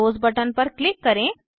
close button पर click करें